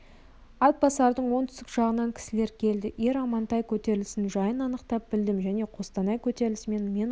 атбасардың оңтүстік жағынан кісілер келді ер амантай көтерілісінің жайын анықтап білдім және қостанай көтерілісі мен оған